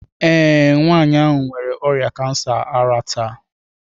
Ee, nwanyị ahụ nwere ọrịa kansa ara taa.